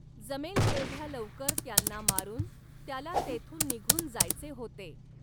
जमेल तेवढ्या लवकर त्यांना मारुन, त्याला तेथून निघून जायचे होते.